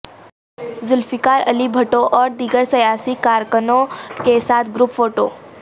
ذوالفقار علی بھٹواور دیگر سیاسی کارکنوں کے ساتھ گروپ فوٹو